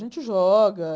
A gente joga.